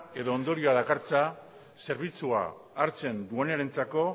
edo ondorio dakartza zerbitzua hartzen duenarentzako